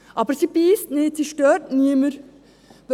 Aber sie beisst nicht, sie stört niemanden.